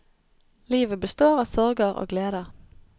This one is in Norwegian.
Livet består av sorger og gleder.